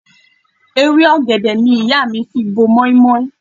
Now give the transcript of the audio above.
Ewé ọ̀gẹ̀dẹ̀ ni ìyá mi fi bo mọ́í-mọ́í.